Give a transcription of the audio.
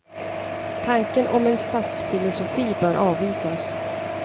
Tanken om en statsfilosofi bör avvisas.